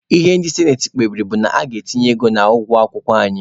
Ihe ndị sinati kpebiri bụ na a ga-etinye ego n'ụgwọ akwụkwọ anyị.